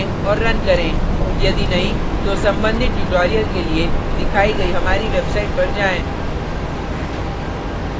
यदि नहीं तो संबंधित tutorials के लिए दिखाई गई हमारी website पर जाएँ